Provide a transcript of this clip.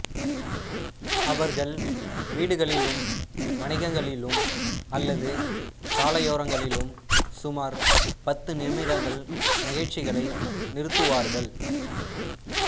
அவர்கள் வீடுகளிலும் வணிகங்களிலும் அல்லது சாலையோரங்களிலும் சுமார் பத்து நிமிடங்கள் நிகழ்ச்சிகளை நிறுத்துவார்கள்